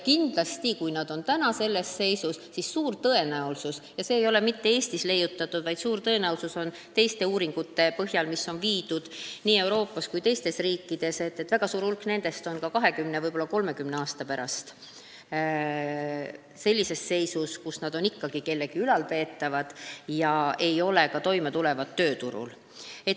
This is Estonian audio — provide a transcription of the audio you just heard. Ja kui nad on praegu sellises seisus, siis on suur tõenäosus – see ei ole mitte Eestis leiutatud, see suur tõenäosus tuleb teistest uuringutest, mis on läbi viidud nii Euroopas kui ka teistes riikides –, et väga suur hulk nendest on 20, võib-olla ka 30 aasta pärast ikka kellegi ülalpeetavad, kes ei tule toime ka tööturul.